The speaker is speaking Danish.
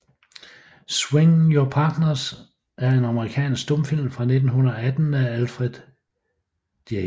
Swing Your Partners er en amerikansk stumfilm fra 1918 af Alfred J